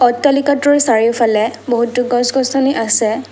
অট্টালিকাতোৰ চাৰিওফালে বহুতো গছ গছনি আছে।